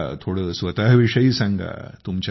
मला थोडं स्वतःविषयी सांगा